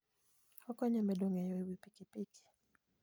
Okonyo e medo ng'eyo e wi pikipiki.